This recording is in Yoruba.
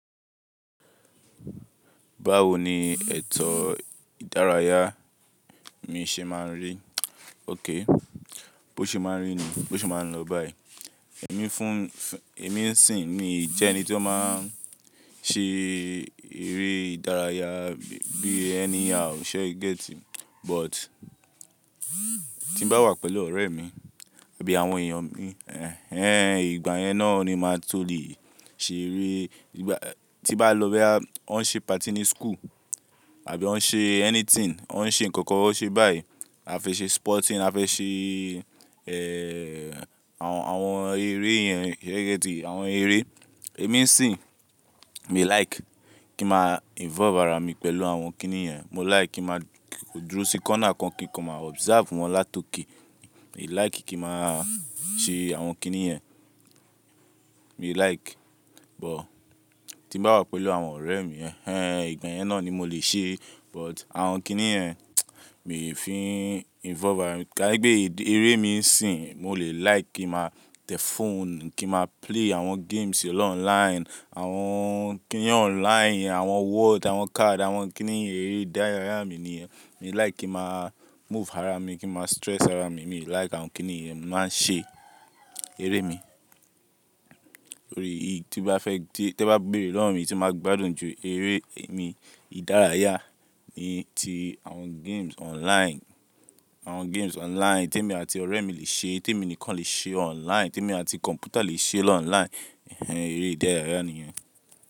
Báwo ni ètò ìdárayá mi ṣe máa ń rí? Ók, bó ṣe máa ń rí ni, bó ṣe máa ń lọ báyìí. Ẹ̀mí fún, ẹ̀mí sì ni jẹ́ ẹni tí ó máa ń ṣe eré ìdárayá bí ẹni, àwọ̀ṣe get. But tí bá wà pẹ̀lú ọ̀rẹ́ mi àbí àwọn èèyàn mi, ẹ́ n ìgbà yẹn náà ni máa tó lè ṣe eré. Ìgbà tí bá lọ bẹ́ ọn ṣe party ní school àbí wọ́n ṣe anything, ọn ṣe nǹkan kan ṣe báyìí. A fẹ́ ṣe sporting a fẹ́ ṣe, ẹ́ àwọn eré yẹn, ẹ gẹ́tì, àwọn eré. Ẹ̀mí sì mi like kí mà involve ara mi pẹ̀lú àwọn kíní yẹn. Mo like kí mà dúró sí corner kan kí n máa observe wọn látòkè. Mi like kí mà ṣe àwọn kíní yẹn. Mi like but tí bá wà pẹ̀lú àwọn ọ̀rẹ́ mi, ẹ́ n ìgbà yẹn náà ni mo lè ṣe but àwọn kíní yẹn mi ò fi involve ara mi. Kánípẹ́ bí eré mi sì n mo lè like kí mà tẹ fóònù kí mà play àwọn games lọ online. Àwọn kíní online, àwọn word, àwọn card àwọn kíní eré ìdárayá mi nìyẹn. Mi like kí mà move ara mi, kí mà stress ara mi, mi like àwọn kíní ìyẹn. Màá ṣe eré mi. Lórí èyí tí bá fẹ́ tí tẹ bá béèrè lọ́rùn mí tí mà gbádùn jù eré mi ìdárayá mi ti àwọn games online. Àwọn games online tí èmi àti ọ̀rẹ́ mi le ṣe, tí èmi nìkan le ṣe online, tí èmi àti kọ̀m̀pútà le ṣe lọ online. Ẹ̀hẹn eré ìdárayá nìyẹn.